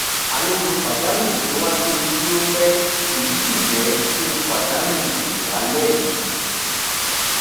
àlejò pàjáwìrì tó wá kí mi dúró pẹ èyí sì jẹ kí n pàdánù ìwẹ àlẹ mi